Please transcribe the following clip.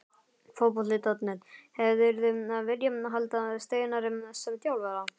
Fótbolti.net: Hefðirðu viljað halda Steinari sem þjálfara?